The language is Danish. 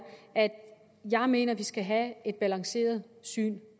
at jeg mener at vi skal have et balanceret syn